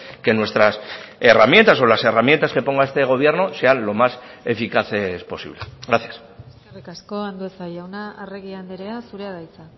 que nuestras herramientas o las herramientas que ponga este gobierno sean lo más eficaces posible gracias eskerrik asko andueza jauna arregi andrea zurea da hitza